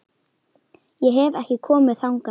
Ég hef ekki komið þangað lengi.